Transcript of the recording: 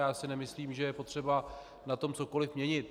Já si nemyslím, že je potřeba na tom cokoliv měnit.